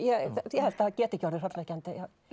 ég held það geti ekki orðið hrollvekjandi